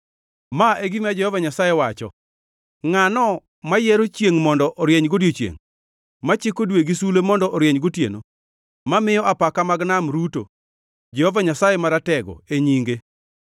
Ma e gima Jehova Nyasaye wacho, ngʼatno mayiero chiengʼ mondo orieny godiechiengʼ, machiko dwe gi sulwe mondo orieny gotieno, mamiyo apaka mag nam ruto, Jehova Nyasaye Maratego e nyinge: